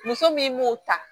Muso min m'o ta